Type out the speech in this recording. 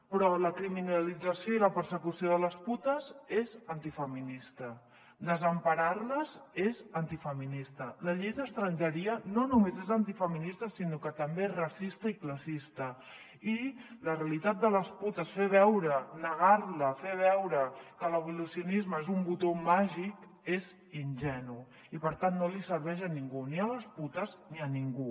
però la criminalització i la persecució de les putes és antifeminista desemparar les és antifeminista la llei d’estrangeria no només és antifeminista sinó que també és racista i classista i la realitat de les putes fer veure negar la fer veure que l’abolicionisme és un botó màgic és ingenu i per tant no li serveix a ningú ni a les putes ni a ningú